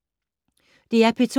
DR P2